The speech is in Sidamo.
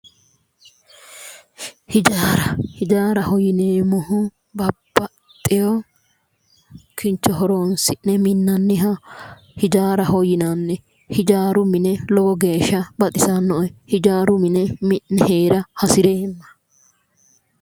Hijaara hijaaraho yineemmohu babbaxewo kincho horonsi'ne minnanniha hijaaraho yinanni hijaaru mine lowo geeshsha baxisannoe hijaaru mine mi'ne heera hasireemma.